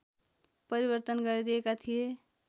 परिवर्तन गरिदिएका थिए